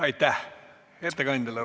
Aitäh ettekandjale!